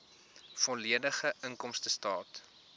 volledige inkomstestaat